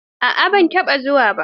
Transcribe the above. A'a ban taɓa zuwa ba.